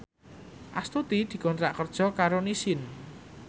Astuti dikontrak kerja karo Nissin